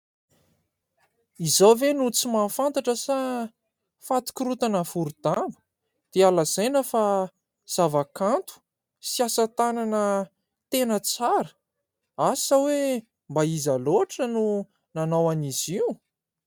Izaho ve no tsy mahafantatra sa fatin-korontana voro-damba dia lazaina fa zava-kanto sy asa tanana tena tsara ? Asa hoe mba iza loatra no nanao an'izy io !